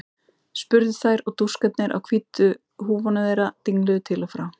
spurðu þær og dúskarnir á nýju hvítu húfunum þeirra dingluðu til og frá.